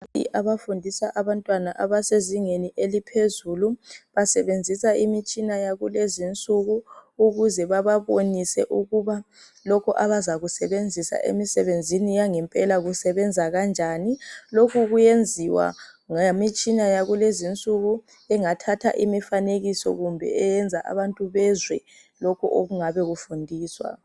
Abafundisa abantwana abasezingeni eliphezulu basebenzisa imitshina yakulezi insuku ukuze bababonise ukuba lokhu abazakusebenzisa emisebenzini yangempela kusebenza kanjani, lokhu kuyenziwa ngemitshina yakulezi nsuku engathatha imifanekiso kumbe eyenza abantu bezwe lokhu okungabe kufundiswa.